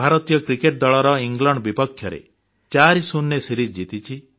ଭାରତୀୟ କ୍ରିକେଟ୍ ଦଳ ଇଂଲଣ୍ଡ ବିପକ୍ଷରେ 40 ରେ ସିରିଜ୍ ଜିତିଛି